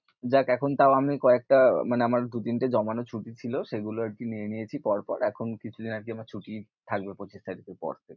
যাক, এখন তাও আমি কয়েকটা মানে আমার দু-তিনটে জমানো ছুটি ছিল, সেগুলো আর কি নিয়ে নিয়েছি পরপর, এখন কিছুদিন আর কি আমার ছুটি থাকবে পঁচিশ তারিখের পর।